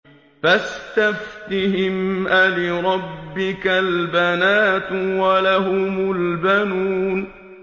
فَاسْتَفْتِهِمْ أَلِرَبِّكَ الْبَنَاتُ وَلَهُمُ الْبَنُونَ